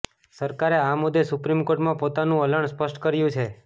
સરકારે આ મુદ્દે સુપ્રીમ કોર્ટમાં પોતાનુ વલણ સ્પષ્ટ કર્યુ છે